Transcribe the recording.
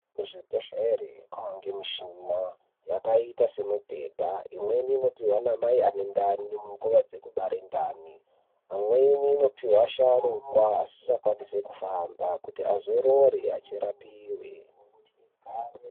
Kuzvibhedhlera kwakuwanikwa mishina yakaita semibhedha imweni inopihwa ana mai ane ndani panguwa dzekubara ndani pamweni inopihwa asharukwa asingakwanisi kufamba kuti azorore pakurapiwa.